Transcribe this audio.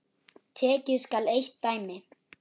Tekið skal eitt dæmi.